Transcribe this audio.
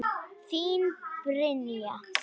Þín Brynja.